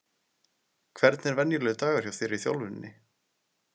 Hvernig er venjulegur dagur hjá þér í þjálfuninni?